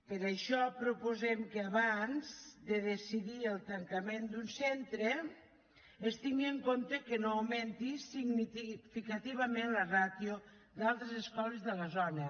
per això proposem que abans de decidir el tancament d’un centre es tingui en compte que no augmenti significativament la ràtio d’altres escoles de la zona